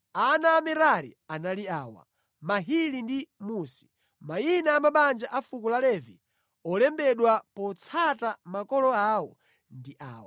Ana a Merari anali awa: Mahili ndi Musi. Mayina a mabanja a fuko la Levi olembedwa potsata makolo awo ndi awa: